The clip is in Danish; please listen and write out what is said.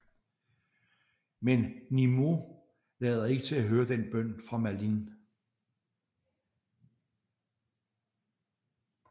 Men Nimeuh lader ikke til at høre den bøn fra Merlin